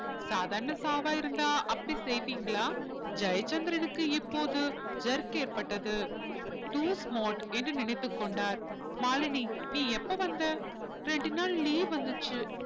சாதாரண சாவா இருந்தா அப்படி செய்வீங்களா ஜெயச்சந்திரனுக்கு இப்போது jerk ஏற்பட்டது too smart என்று நினைத்துக் கொண்டார் மாலினி நீ எப்ப வந்த இரண்டு நாள் leave வந்துச்சு